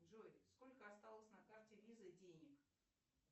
джой сколько осталось на карте виза денег